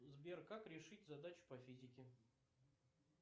сбер как решить задачу по физике